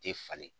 Tɛ falen